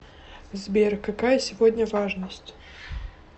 сбер какая сегодня важность